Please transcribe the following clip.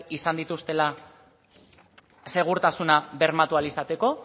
izan dituztela segurtasuna bermatu ahal izateko